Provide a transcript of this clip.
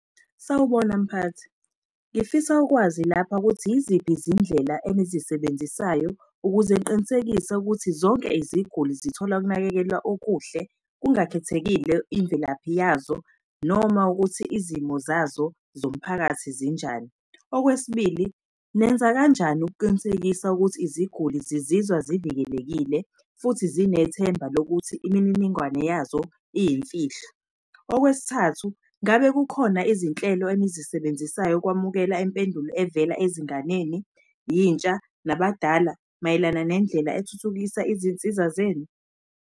Sawubona mphathi, ngifisa ukwazi lapha ukuthi yiziphi izindlela enizisebenzisayo ukuze ngiqinisekise ukuthi zonke iziguli zithola ukunakekelwa okuhle kungakhethekile imvelaphi yazo, noma ukuthi izimo zazo zomphakathi zinjani. Okwesibili, nenza kanjani ukuqinisekisa ukuthi iziguli zizizwa zivikelekile futhi zinethemba lokuthi imininingwane yazo iyimfihlo. Okwesithathu, ngabe kukhona izinhlelo enizisebenzisayo ukwamukela impendulo evela ezinganeni, yintsha nabadala mayelana nendlela ethuthukisa izinsiza zenu?